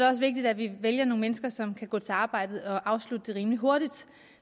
også vigtigt at vi vælger nogle mennesker som kan gå til arbejdet og afslutte det rimelig hurtigt og